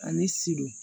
Ani sidon